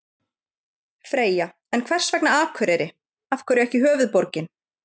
Freyja: En hvers vegna Akureyri, af hverju ekki höfuðborgin?